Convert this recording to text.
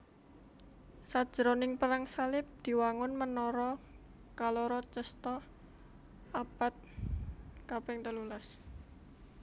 Sajroning Perang Salib diwangun menara kaloro Cesta abad kaping telulas